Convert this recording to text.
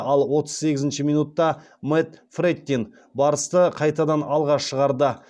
ал отыз сегізінші минутта мэтт фрэттин барысты қайтадан алға шығарды